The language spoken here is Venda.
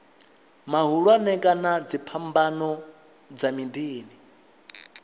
mahulwane kana dziphambano dza miḓini